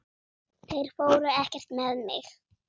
Þeir fóru ekkert með mig!